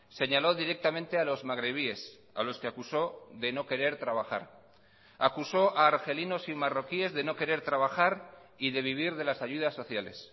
señaló directamente a los magrebíes a los que acusó de no querer trabajar acusó a argelinos y marroquíes de no querer trabajar y de vivir de las ayudas sociales